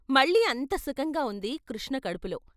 మళ్ళీ అంత సుఖంగా ఉంది కృష్ణ కడుపులో.